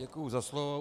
Děkuju za slovo.